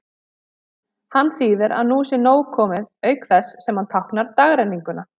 Hann þýðir að nú sé nóg komið, auk þess sem hann táknar dagrenninguna.